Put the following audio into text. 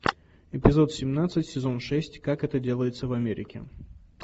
эпизод семнадцать сезон шесть как это делается в америке